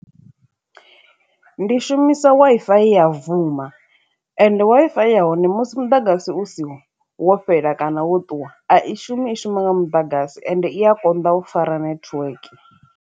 Ndi shumisa Wi-Fi ya vuma ende Wi-Fi ya hone musi muḓagasi u si wo fhela kana wo ṱuwa a i shumi i shuma nga muḓagasi ende i a konḓa u fara network.